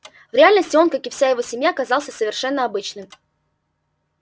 в реальности он как и вся его семья казался совершенно обычным